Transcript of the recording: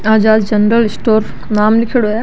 आजाद general store नाम लीखेड़ो है।